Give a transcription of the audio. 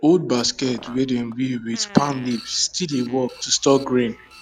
old basket wey dem weave with palm leaf still dey work to store grain